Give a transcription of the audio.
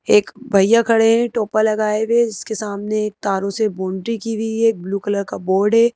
एक भैया खडे है टोपा लगाए हुए उसके सामने एक तारों से बोन्ड्री की गई है ब्लू कलर का बोर्ड है।